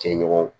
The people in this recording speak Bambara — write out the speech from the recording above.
Cɛ ɲɔgɔn